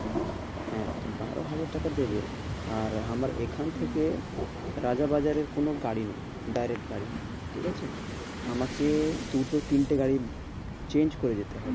হ্যাঁ বারো হাজার টাকা দেবে, আর আমার এখান থেকে রাজা বাজারের কোনো গাড়ি নেই। direct গাড়ি নেই, ঠিক আছে। আমাকে দুটো তিনটে গাড়ি না change করে যেতে হয়।